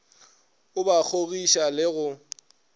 o ba kgogiša le go